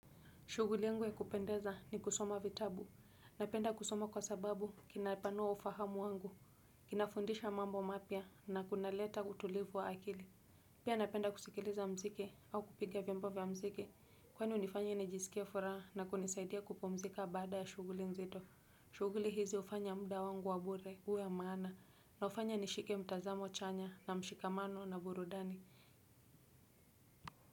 Shughuli yangu ya kupendeza ni kusoma vitabu, ninapenda kusoma kwa sababu kinapanuwa ufahamu wangu kinafundisha mambo mapya na kinaleta utulivu wa akili pia napenda kusikiliza mziki au kupiga vyombo vya mziki kwani unifanya nijisikia furaha na kunisaidia kupumzika baada ya shughuli nzito. Shuguli hizi ufanya muda wangu wa bure huwe wamaana na ufanya nishike mtazamo chanya na mshikamano na burudani.